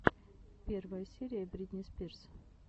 первая серия бритни спирс